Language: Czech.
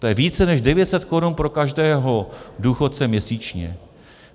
To je více než 900 korun pro každého důchodce měsíčně.